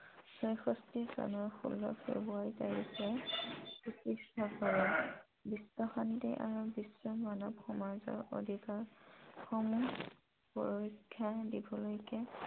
এক হাজাৰ নশ চৌষট্টি চনৰ ষোল্ল ফ্ৰেব্ৰুৱাৰী তাৰিখে প্ৰতিষ্ঠা কৰে । বিশ্ব শান্তি আৰু বিশ্ব মানৱ সমাজৰ অধিকাৰ সমূহ সুৰক্ষা দিবলৈকে